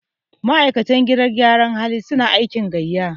ma'aikatan gidan gyaran hali suna aiki gaiya